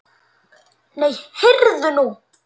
Nei, heyrðu nú.